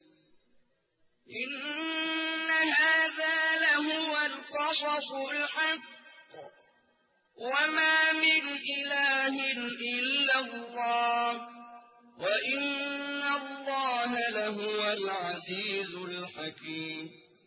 إِنَّ هَٰذَا لَهُوَ الْقَصَصُ الْحَقُّ ۚ وَمَا مِنْ إِلَٰهٍ إِلَّا اللَّهُ ۚ وَإِنَّ اللَّهَ لَهُوَ الْعَزِيزُ الْحَكِيمُ